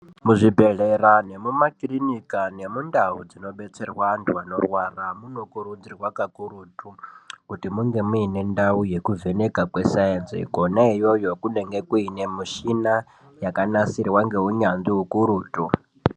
Muzvibhedlera nemumaklinika nemuntawo dzinodetserwa vantu vanorwara munokurudzirwa kakurutu kuti munge muinendau yekuvheneka kwesayinsi koneyoyo kunenge kunemishina yakanasirwa ngehunyanzvi hukurutu.